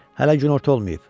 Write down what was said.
Hələ günorta olmayıb.